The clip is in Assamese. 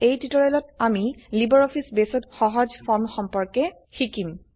এই টিউটোৰিয়েলত আমি লাইব্ৰঅফিছ বেসত সহজ ফৰ্ম সম্পৰ্কে জানিম